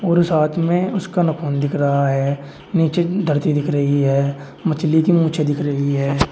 और उस हाथ में उसका नखून दिख रहा है नीचे धरती दिख रही है मछली की मूंछें दिख रही है।